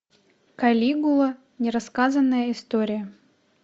калигула нерассказанная история